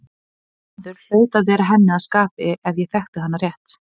Þessi maður hlaut að vera henni að skapi ef ég þekkti hana rétt.